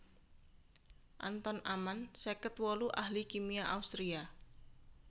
Anton Amann seket wolu ahli kimia Austria